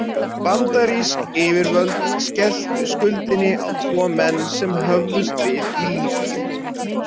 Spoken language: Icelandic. Bandarísk yfirvöld skelltu skuldinni á tvo menn sem höfðust við í Líbýu.